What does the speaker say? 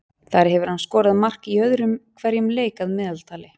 Þar hefur hann skorað mark í öðrum hverjum leik að meðaltali.